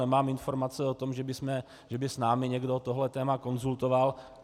Nemám informace o tom, že by s námi někdo tohle téma konzultoval.